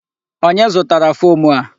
Onye zụtara fom a?